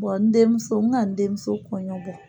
n denmuso n n ka n denmuso kɔɲɔbɔ.